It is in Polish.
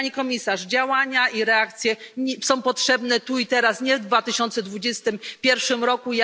Pani Komisarz, działania i reakcje są potrzebne tu i teraz, nie w 2021 roku.